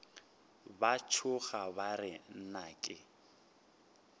ba tšhoga ba re nnake